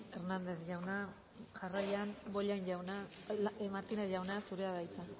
hernández jauna jarraian bollain jauna martínez jauna zurea da hitza